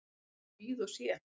Ég bara bíð og sé.